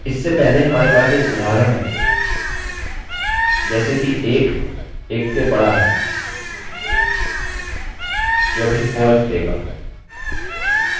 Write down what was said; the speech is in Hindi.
इससे पहले हमारे पास एक उदाहरण है जैसे कि 1 1 से बड़ा है जो अभी false देगा